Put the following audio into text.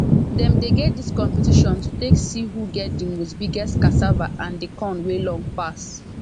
dem dey get dis competition to take see who get the most biggest cassava and the corn wey long pass